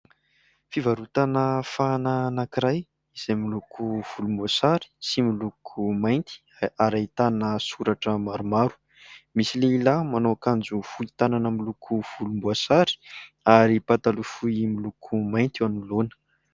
Fivarotana fahana anankiray izay miloko volomboasary sy miloko mainty ary ahitana soratra maromaro. Misy lehilahy manao akanjo fohy tanana miloko volomboasary ary pataloha fohy miloko mainty eo anoloana.